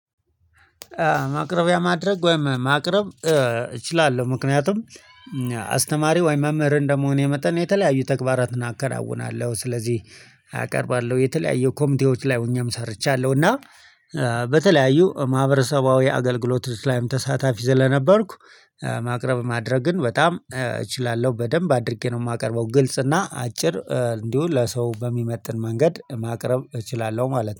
ማቅረቢያ ማድረግ ወይም ማቅረብ እችላለሁ። ምክንያቱም አስተማሪ ወይም መምህር እንደመሆኔ የመጠን የተለያዩ ተግባራትን አከናውናለሁ ስለዚህ አቀርባለሁ የተለያዩ ኮምፒቴዎች ላይ ሆኜም ሰርቻለሁ። እና በተለያዩ ማህበረሰባዊ አገልግሎቶች ላይም ተሳታፊ ስለነበርኩ ማቅረብ ማድረግን በጣም እችላለሁ በደንብ አድርጌ ነው የማቀርበው። ግልጽ እና አጭር እንዲሁ ለሰው በሚመጥን መንገድ ማቅረብ እችላለሁ ማለት ነው